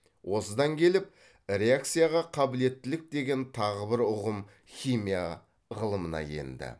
осыдан келіп реакцияға қабілеттілік деген тағы бір ұғым химия ғылымына енді